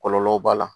Kɔlɔlɔ b'a la